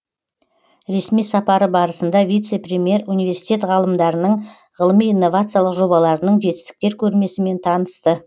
ресми сапары барысында вице премьер университет ғалымдарының ғылыми инновациялық жобаларының жетістіктер көрмесімен танысты